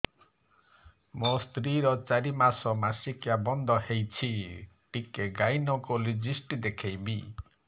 ମୋ ସ୍ତ୍ରୀ ର ଚାରି ମାସ ମାସିକିଆ ବନ୍ଦ ହେଇଛି ଟିକେ ଗାଇନେକୋଲୋଜିଷ୍ଟ ଦେଖେଇବି